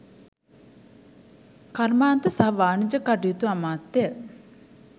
කර්මාන්ත සහ වාණිජ කටයුතු අමාත්‍ය